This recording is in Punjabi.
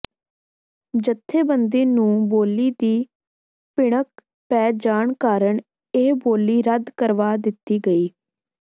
ਜਥੇਬੰਦੀ ਨੂੰ ਬੋਲੀ ਦੀ ਭਿਣਕ ਪੈ ਜਾਣ ਕਾਰਨ ਇਹ ਬੋਲੀ ਰੱਦ ਕਰਵਾ ਦਿੱਤੀ ਗਈ